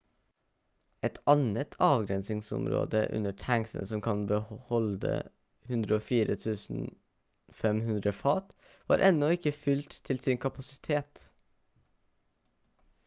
et annet avgrensningsområde under tanksene som kan holde 104 500 fat var ennå ikke fylt til sin kapasitet